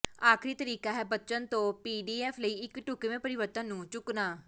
ਆਖਰੀ ਤਰੀਕਾ ਹੈ ਬਚਨ ਤੋਂ ਪੀਡੀਐਫ ਲਈ ਇੱਕ ਢੁਕਵੇਂ ਪਰਿਵਰਤਣ ਨੂੰ ਚੁੱਕਣਾ